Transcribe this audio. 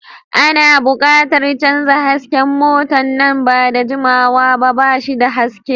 Ana buƙatar canza hasken mota na nan ba da jimawa ba, ba shi da haske.